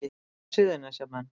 Hvað segja Suðurnesjamenn